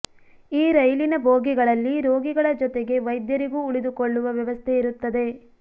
ಈ ರೈಲಿನ ಬೋಗಿಗಳಲ್ಲಿ ರೋಗಿಗಳ ಜೊತೆಗೆ ವೈದ್ಯರಿಗೂ ಉಳಿದುಕೊಳ್ಳುವ ವ್ಯವಸ್ಥೆ ಇರುತ್ತದೆ